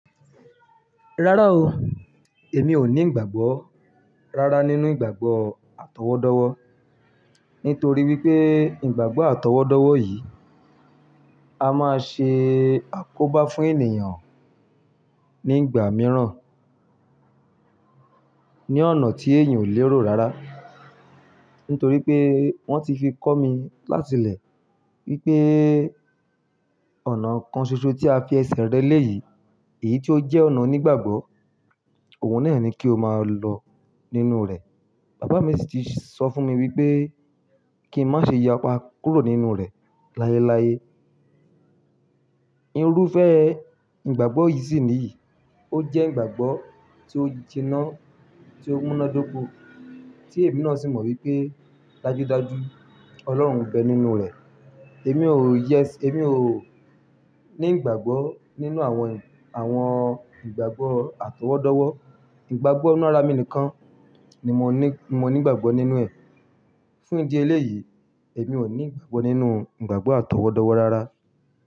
Rárá o, èmi ò ní ìgbàgbọ́ rárá nínú ìgbàgbọ́ àtọwọ́dọ́wọ́. Nítorí wípé ìgbàgbọ́ àtọwọ́dọ́wọ́ yìí a máa ṣe àkóbá fún ènìyàn ní ìgbà mìíràn ní ọ̀nà tí èèyàn ò lè rò rára. Nítorí pé wọ́n ti fi kọ́ mi láti lẹ̀ wípé ọ̀nà kan ṣoṣo tí a fi ẹsẹ̀ rẹ léyìí, èyí tí ó jẹ́ ọ̀nà onígbàgbọ́, òun náà ni kí o máa lọ nínú rẹ̀. Bàbá mi sì ti sọ fún mi wípé kí n má ṣe yapa kúrò nínú rẹ̀ láyeláyé. Irúfẹ́ ìgbàgbọ́ yìí sì nìyí, ó jẹ́ ìgbàgbọ́ tí ó ti nà, tí ó múnádóko, tí èmi náà sì mọ̀ wípé dájúdájú Ọlọ́run nbẹ nínú rẹ̀. Èmi ò yes, èmi ò ní ìgbàgbọ́ nínú àwọn, àwọn ìgbàgbọ́ àtọwọ́dọ́wọ́. Ìgbàgbọ́ nínú ara mi nìkan ni mo ní, mo ní ìgbàgbọ́ nínú ẹ̀. Fún ìdí eléyìí, èmi ò ní ìgbàgbọ́ nínú ìgbàgbọ́ àtọwọ́dọ́wọ́ rárá.